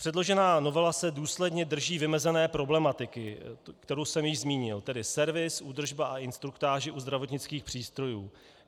Předložená novela se důsledně drží vymezené problematiky, kterou jsem již zmínil, tedy servis, údržba a instruktáže u zdravotnických přístrojů.